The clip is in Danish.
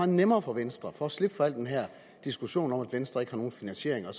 nemmere for venstre for at slippe for al den her diskussion om at venstre ikke har nogen finansiering og